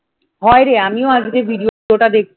হায়রে আমিও আজকে ভিডিওটা দেখছি